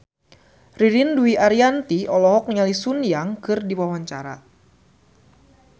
Ririn Dwi Ariyanti olohok ningali Sun Yang keur diwawancara